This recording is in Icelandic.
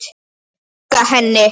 Storka henni.